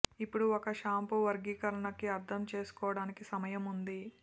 ఇప్పుడు ఒక షాంపూ వర్గీకరణకి అర్థం చేసుకోవడానికి సమయం ఉంది